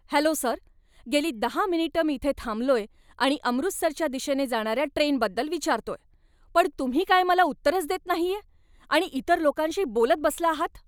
Hello sir! गेली दहा मिनिटं मी इथे थांबलोय आणि अमृतसरच्या दिशेने जाणार्या ट्रेनबद्दल विचारतोय, पण तुम्ही काय मला उत्तरच देत नाहीये आणि इतर लोकांशी बोलत बसला आहात.